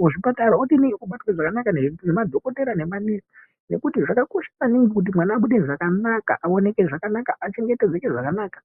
kuzvipatara obatwa zvakanaka ngemadhokoteya nemanesi ngekuti zvakakosha maningi kuti mwana abude zvakanaka anoneke zvakanaka achengetedzeke zvakanaka .